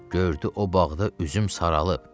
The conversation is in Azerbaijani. Gördü o bağda üzüm saralıb.